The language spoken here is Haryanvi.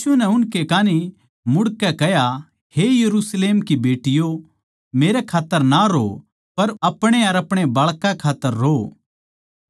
यीशु नै उनकै कान्ही मुड़के कह्या हे यरुशलेम की बेटियों मेरै खात्तर ना रोओ पर अपणे अर अपणे बाळकां के खात्तर रोओ